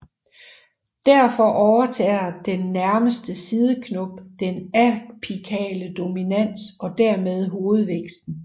Derfor overtager den nærmeste sideknop den apikale dominans og dermed hovedvæksten